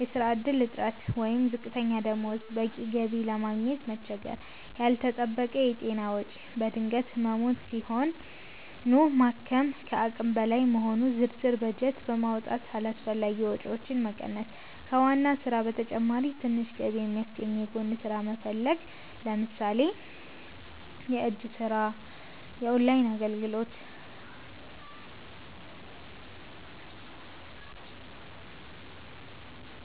የሥራ ዕድል እጥረት ወይም ዝቅተኛ ደሞዝ - በቂ ገቢ ለማግኘት መቸገር። ያልተጠበቀ የጤና ወጪ - በድንገት ህሙማን ሲሆኑ ማከም ከአቅም በላይ መሆኑ። ዝርዝር በጀት በማውጣት አላስፈላጊ ወጪዎችን መቀነስ። ከዋና ሥራ በተጨማሪ ትንሽ ገቢ የሚያስገኝ የጎን ሥራ መፈለግ (ለምሳሌ የእጅ ሥራ፣ ኦንላይን አገልግሎት)።